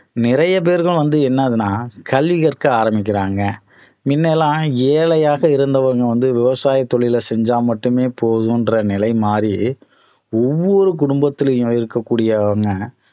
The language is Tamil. நிறைய பேருக்கு வந்து என்ன ஆகுதுனா கல்வி கற்க ஆரம்பிக்கிறாங்க முன்ன எல்லாம் ஏழையாக இருந்தவங்க வந்து விவசாய தொழிலை செஞ்சா மட்டுமே போதும் என்ற நிலை மாறி ஒவ்வொரு குடும்பத்திலயும் இருக்க கூடியவங்க